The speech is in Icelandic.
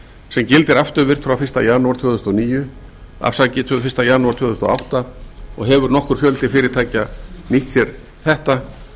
sem gildir afturvirkt frá fyrsta janúar tvö þúsund og átta og hefur nokkur fjöldi fyrirtækja nýtt sér þetta